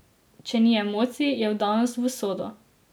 Če ni emocij, je vdanost v usodo.